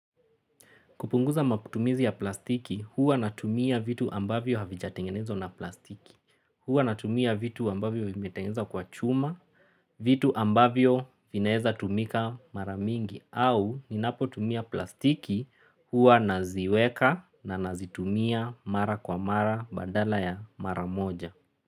Kupunguza makutumizi ya plastiki, huwa natumia vitu ambavyo havijatengenezwa na plastiki. Huwa natumia vitu ambavyo vimetengenezwa kwa chuma, vitu ambavyo vinaeza tumika maramingi. Au ninapo tumia plastiki huwa naziweka na nazitumia mara kwa mara badala ya mara moja.